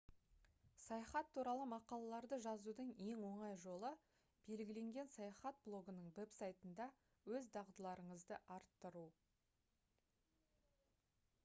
саяхат туралы мақалаларды жазудың ең оңай жолы белгіленген саяхат блогының веб-сайтында өз дағдыларыңызды арттыру